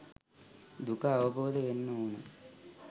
දුක අවබෝධ වෙන්න ඕන